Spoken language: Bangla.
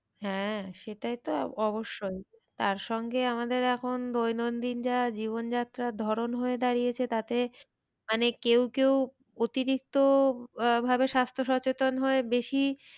হ্যাঁ সেটা তো অবশ্যই। তার সঙ্গে আমাদের এখন দৈনন্দিন যা জীবন যাত্রার ধরণ হয়ে দাঁড়িয়েছে তাতে মানে কেউ কেউ অতিরিক্ত আহ ভাবে স্বাস্থ্য সচেতন হয়ে বেশি